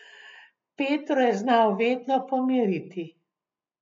Petro je znal vedno pomiriti.